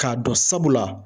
K'a dɔn sabula